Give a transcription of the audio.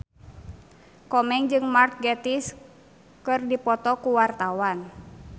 Komeng jeung Mark Gatiss keur dipoto ku wartawan